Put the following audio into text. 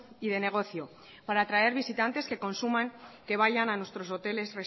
y de negocio para atraer visitantes que consuman que vayan a nuestros hoteles